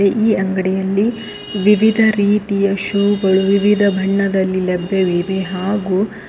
ಈ ಅಂಗಡಿಯಲ್ಲಿ ವಿವಿಧ ರೀತಿಯ ಶೂಗಳು ವಿವಿಧ ಬಣ್ಣದಲ್ಲಿ ಲಭ್ಯವಿವೆ ಹಾಗು--